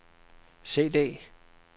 CD